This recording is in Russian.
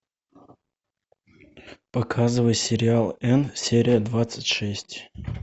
показывай сериал энн серия двадцать шесть